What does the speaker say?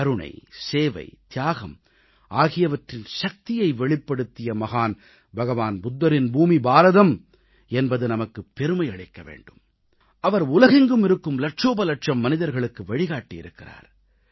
கருணை சேவை தியாகம் ஆகியவற்றின் சக்தியை வெளிப்படுத்திய மகான் பகவான் புத்தரின் பூமி பாரதம் என்பது நமக்குப் பெருமை அளிக்க வேண்டும் அவர் உலகெங்கும் இருக்கும் லட்சோப லட்சம் மக்களுக்கு வழிகாட்டியிருக்கிறார்